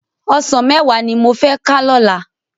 Òsán mèwá ni mó fè ká lòlá